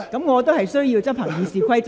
我必須執行《議事規則》。